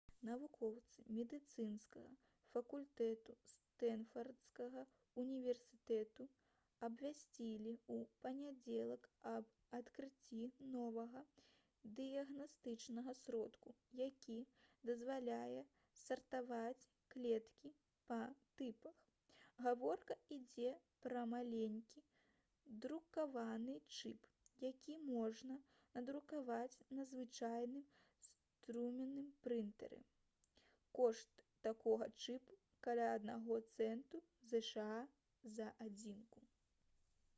навукоўцы медыцынскага факультэту стэнфардскага ўніверсітэту абвясцілі ў панядзелак аб адкрыцці новага дыягнастычнага сродку які дазваляе сартаваць клеткі па тыпах гаворка ідзе пра маленькі друкаваны чып які можна надрукаваць на звычайным струменным прынтары кошт такога чыпу каля аднаго цэнту зша за адзінку